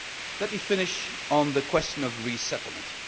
Let me finish on the question of resettlement.